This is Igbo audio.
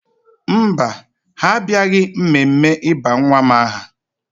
Mba, ha abịaghị mmemme ịba nwa m aha